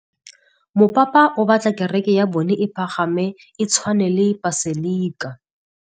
Mopapa o batla kereke ya bone e pagame, e tshwane le paselika.